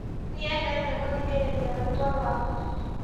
Nĩendete gũthikĩrĩria rwĩmbo rwaku